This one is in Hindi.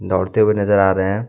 दौड़ते हुए नजर आ रहे हैं।